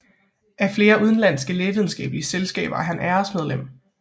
Af flere udenlandske lægevidenskabelige selskaber er han æresmedlem